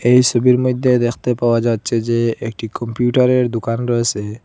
এই সোবির মইধ্যে দেখতে পাওয়া যাচ্ছে যে একটি কম্পিউটারের দুকান রয়েসে ।